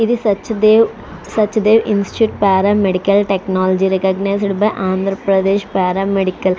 ఇది Satyadev Sachdev institute para medical technology recognised by Andhra Pradesh para medical --